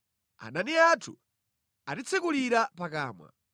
“Adani anthu atitsekulira pakamwa.